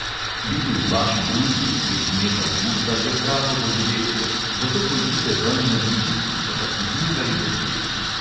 Biti v vaši družbi v teh dneh avgusta je pravo doživetje, zato pojdite ven med ljudi, ki so vas zmeraj veseli.